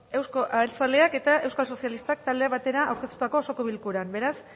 eusko abertzaleak eta euskal sozialistak taldeak batera aurkeztutako osoko bilkuran beraz